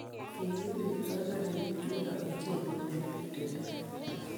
Kikibir kipsomaninik chuno ochei konetinte ne oo.